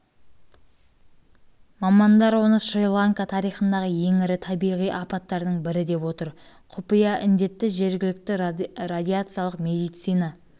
мамандар оны шри-ланка тарихындағы ең ірі табиғи апаттардың бірі деп отыр құпия індетті жергілікті радиациялық медицина